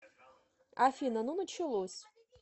афина ну началось